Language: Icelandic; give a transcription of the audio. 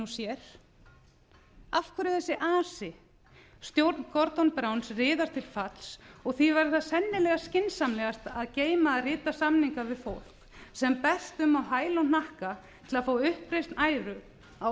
sér af hverju þessi asi stjórn gordons browns riðar til falls og því væri það sennilega skynsamlegast að geyma að rita samninga við fólk sem berst um á hæl og hnakka til að fá uppreisn æru á